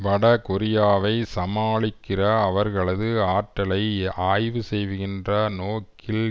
வட கொரியாவை சமாளிக்கிற அவர்களது ஆற்றலை ஆய்வு செய்கின்ற நோக்கில்